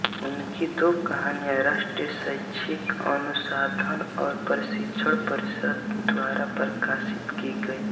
उनकी दो कहानियां राष्ट्रीय शैक्षिक अनुसंधान और प्रशिक्षण परिषद द्वारा प्रकाशित की गईं